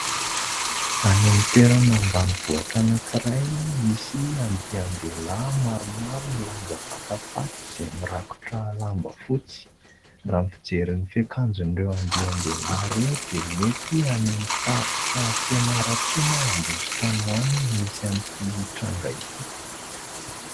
Any amin'ny toerana ambanivohitra anankiray, misy andian-dehilahy maromaro milanja vatam-paty, izay mirakotra lamba fotsy. Raha ny fijery ny fiakanjoan'ireo andian-dehilahy ireo, dia mety any amin'ny faritra Fianarantsoa na Ambositra any ho any no misy an'ity tranga ity.